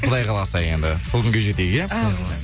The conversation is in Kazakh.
құдай қаласа енді сол күнге жетейік иә әумин